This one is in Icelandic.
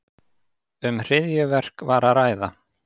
Um hryðjuverk var að ræða